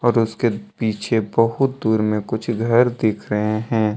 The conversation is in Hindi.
और उसके पीछे बहुत दूर में कुछ घर दिख रहे है।